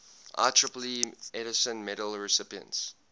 ieee edison medal recipients